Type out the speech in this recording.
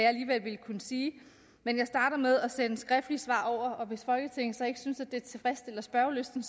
alligevel ville kunne sige men jeg starter med at sende skriftlige svar over og hvis folketinget så ikke synes at det tilfredsstiller spørgelysten